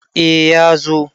eh ya zo